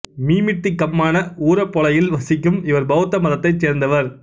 மீமிட்டி கம்மான ஊரபொலயில் வசிக்கும் இவர் பௌத்த மதத்தைச் சேர்ந்தவர்